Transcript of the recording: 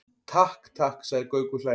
Takk, takk sagði Gaukur hlæjandi.